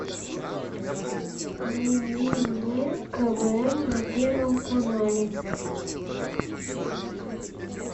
найди мне квн на первом канале